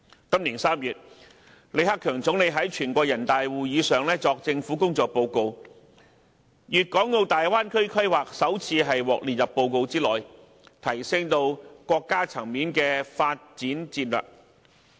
今年3月，李克強總理在全國人大會議上作政府工作報告，粵港澳大灣區規劃首次獲列入報告之內，提升至國家層面的發展戰略。